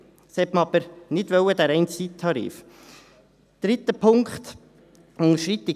Diesen reinen Zeittarif wollte man aber nicht.